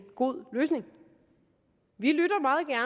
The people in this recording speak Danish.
god løsning vi lytter